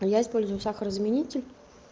я использую сахарозаменитель